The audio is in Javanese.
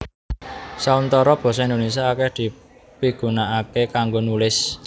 Sauntara basa Indonésia akèh dipigunakaké kanggo nulis